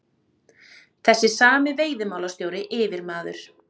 Þessi sami veiðimálastjóri, yfirmaður